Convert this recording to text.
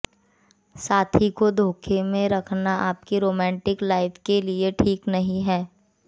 साथी को धोखे में रखना आपकी रोमांटिक लाइफ के लिये ठीक नहीं है